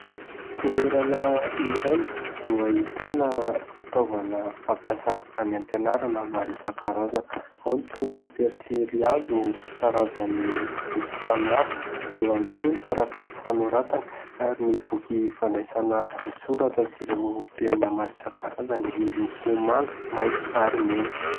Toerana iray no ahitana fitaovana fampiasa any am-pianarana maro isan-karazany ; ao ny pensilihazo karazany miloko samihafa, eo ihany koa ny taratasy fanoratana ary ny boky fandraisana an-tsoratra sy ireo penina maro isan-karazany miloko manga, maitso ary mena.